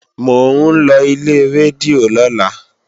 Mò ń lọ ilé rédíò lọ́la